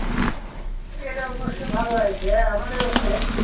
এটা অবশ্য ভালো হয়েছে আমাদের ওখানে,